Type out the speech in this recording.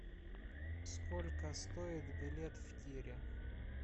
сколько стоит билет в тире